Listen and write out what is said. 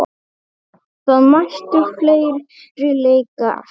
Það mættu fleiri leika eftir.